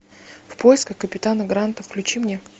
в поисках капитана гранта включи мне